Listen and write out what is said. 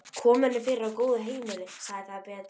Kom henni fyrir á góðu heimili, sagði það betra.